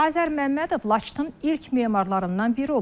Azər Məmmədov Laçının ilk memarlarından biri olub.